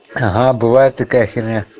ага бывает такая херня